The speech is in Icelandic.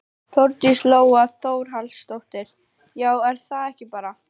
Þórdís Lóa Þórhallsdóttir: Já er það ekki bara?